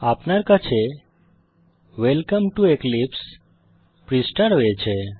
আপনার কাছে welcome to এক্লিপসে পৃষ্ঠা রয়েছে